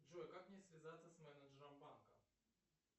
джой как мне связаться с менеджером банка